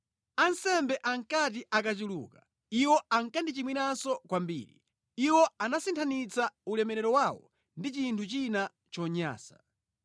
Ansembe ankati akachuluka iwo ankandichimwiranso kwambiri; iwo anasinthanitsa ulemerero wawo ndi chinthu china chonyansa.